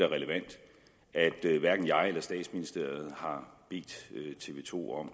relevant at hverken jeg eller statsministeriet har bedt tv to om